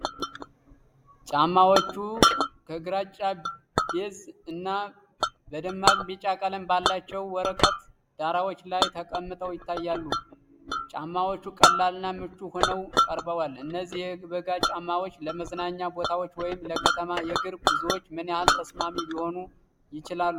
ጫማዎቹ በግራጫ-ቢዥ እና በደማቅ ቢጫ ቀለም ባላቸው የወረቀት ዳራዎች ላይ ተቀምጠው ይታያሉ። ጫማዎቹ ቀላልና ምቹ ሆነው ቀርበዋል። እነዚህ የበጋ ጫማዎች ለመዝናኛ ቦታዎች ወይም ለከተማ የእግር ጉዞዎች ምን ያህል ተስማሚ ሊሆኑ ይችላሉ?